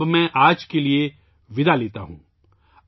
اب میں آج کے لئے وداع لیتا ہوں